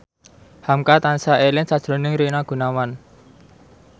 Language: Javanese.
hamka tansah eling sakjroning Rina Gunawan